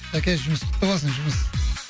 шаке жұмыс құтты болсын жұмыс